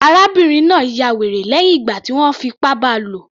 Arábìnrin náà ya wèrè lẹ́hìn ìgbà tí wọ́n fi ipá bá a lò